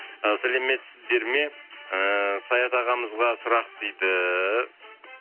і сәлеметсіздер ме ыыы саят ағамызға сұрақ дейді